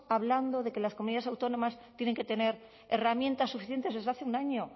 hablando de que las comunidades autónomas tienen que tener herramientas suficientes desde hace un año